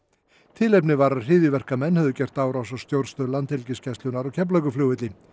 tilefnið var að hryðjuverkamenn höfðu gert árás á stjórnstöð Landhelgisgæslunnar á Keflavíkurflugvelli